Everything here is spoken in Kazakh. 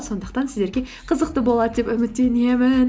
сондықтан сіздерге қызықты болады деп үміттенемін